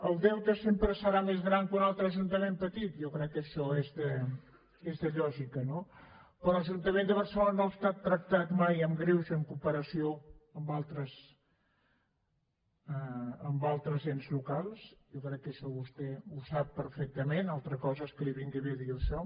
el deute sempre serà més gran que un altre ajuntament petit jo crec que això és de lògica no però l’ajuntament de barcelona no ha estat tractat mai amb greuge en comparació amb altres ens locals jo crec que això vostè ho sap perfectament una altra cosa és que li vingui bé dir això